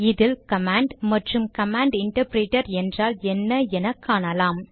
இதில் கமாண்ட் மற்றும் command interpreter என்றால் என்ன என காணலாம்